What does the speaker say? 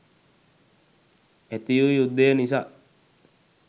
ඇති වූ යුද්ධය නිසා